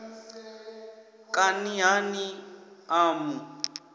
kani ha ni a mu